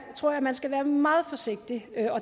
tror at man skal være meget forsigtig